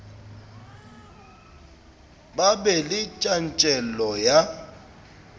ba be le tjantjello ya